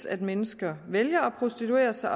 at mennesker vælger at prostituere sig